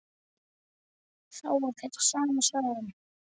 Þá var þetta sama sagan.